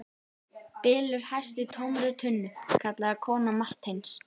Bylur hæst í tómri tunnu, kallaði kona Marteins.